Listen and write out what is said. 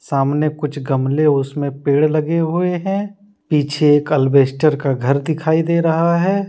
सामने कुछ गमले उसमें पेड़ लगे हुए हैं पीछे एक अल्बेस्टर का घर दिखाई दे रहा है।